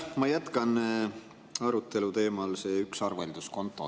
Ma jätkan arutelu teemal "Üks arvelduskonto".